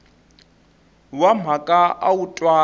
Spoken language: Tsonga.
wa mhaka a wu twali